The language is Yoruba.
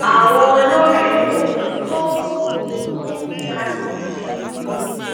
àwọn olórí ohun tó um ohun tó um ń dari ìṣirò